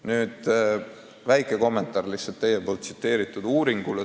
Nüüd aga väike kommentaar teie märgitud uuringule.